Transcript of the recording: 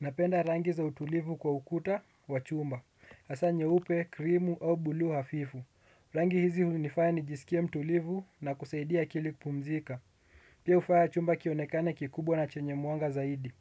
Napenda rangi za utulivu kwa ukuta wa chumba. Hasa nyeupe, krimu au buluu hafifu. Rangi hizi hunifaya nijisikia mtulivu na kusaidia akili kupumzika. Pia hufaya chumba kionekane kikubwa na chenyemwanga zaidi.